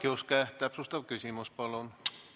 Jaak Juske, täpsustav küsimus, palun!